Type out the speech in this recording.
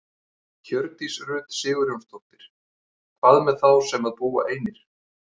Hjördís Rut Sigurjónsdóttir: Hvað með þá sem að búa einir?